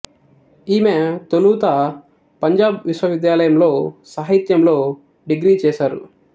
ఈమె తొలుత పంజాబ్ విశ్వవిద్యాలయం లో సాహిత్యంలో డిగ్రీ చేసారు